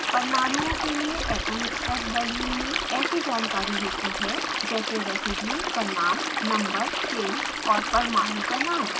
परमाणु के लिए atomspec balloon में ऐसी जानकारी होती है जैसे: residue का नाम नंबर चेन और परमाणु का नाम